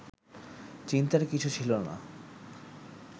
চিন্তার কিছু ছিল না